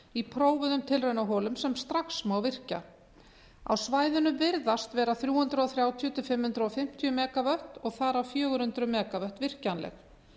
í prófuðum tilraunaholum sem strax má virkja á svæðinu virðast vera þrjú hundruð þrjátíu til fimm hundruð fimmtíu megavött og þar af fjögur hundruð megavött virkjanleg